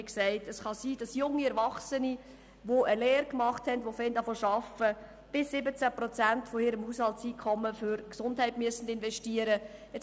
Wie gesagt, es kann sein, dass junge Erwachsene, die eine Lehre gemacht haben und zu arbeiten beginnen, bis zu 17 Prozent ihres Haushalteinkommens für die Gesundheit investieren müssen.